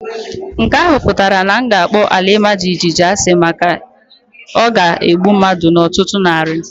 Nke ahụ pụtara na m ga-akpọ ala ima jijiji asị maka o ga-egbu mmadu n'ọtụtụ narị.